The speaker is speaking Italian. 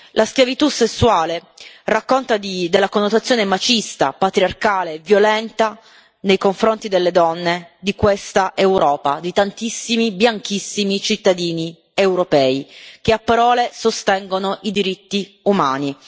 La schiavitù sessuale racconta la connotazione machista, patriarcale e violenta nei confronti delle donne di questa Europa, di tantissimi, bianchissimi, cittadini europei che a parole sostengono i diritti umani.